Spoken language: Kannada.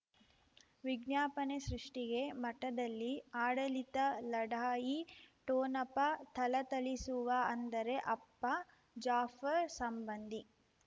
ವಿಜ್ಞಾಪನೆ ಸೃಷ್ಟಿಗೆ ಮಠದಲ್ಲಿ ಆಡಳಿತ ಲಢಾಯಿ ಠೋಣಪ ಥಳಥಳಿಸುವ ಅಂದರೆ ಅಪ್ಪ ಜಾಫರ್ ಸಂಬಂಧಿ